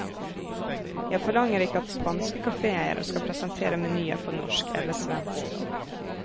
Jeg forlanger ikke at spanske kaféeiere skal presentere menyer på norsk eller svensk.